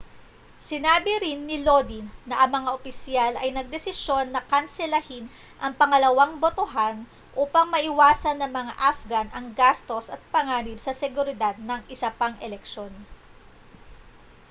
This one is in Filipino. sinabi rin ni lodin na ang mga opisyal ay nagdesisyon na kanselahin ang pangalawang botohan upang maiwasan ng mga afghan ang gastos at panganib sa seguridad ng isa pang eleksyon